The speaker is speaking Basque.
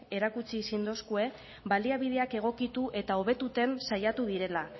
erakutsi zindoskue baliabideak egokitu eta hobetuten saiatu direla